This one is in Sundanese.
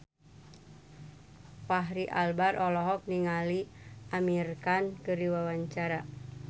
Fachri Albar olohok ningali Amir Khan keur diwawancara